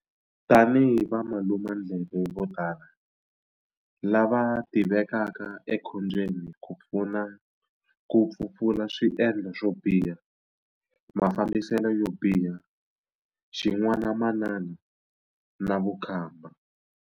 Tanihi valumandleve vo tala, lava tivekaka ekhombyeni ku pfuna ku pfupfula swiendlo swo biha, mafambiselo yo biha, xin'wanamanana na vukhamba.